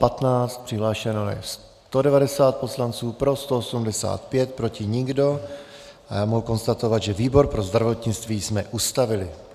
Přihlášeno je 190 poslanců, pro 185, proti nikdo a já mohu konstatovat, že výbor pro zdravotnictví jsme ustavili.